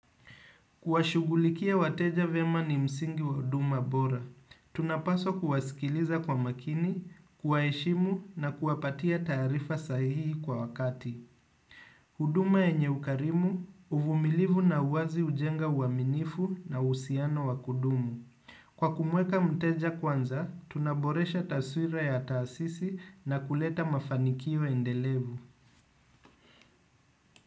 Kuwashughulikia wateja vyema ni msingi wa huduma bora, tunapaswa kuwasikiliza kwa makini, kuwaheshimu na kuwapatia taarifa sahihi kwa wakati. Huduma yenye ukarimu, uvumilivu na uwazi hujenga uaminifu na uhusiano wa kudumu. Kwa kumweka mteja kwanza, tunaboresha taswira ya taasisi na kuleta mafanikio endelevu.